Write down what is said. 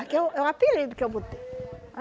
Aqui é o é o apelido que eu botei.